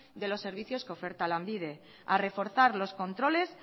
de los servicios que oferta lanbide a reforzar los controles